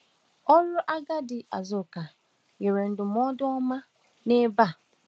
Ọrụ agadi Azụka nyere ndụmọdụ ọma n’ebe a.